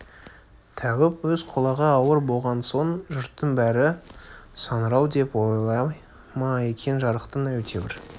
тәуіп өз құлағы ауыр болған соң жұрттың бәрі саңырау деп ойлай ма екен жарықтық әйтеуір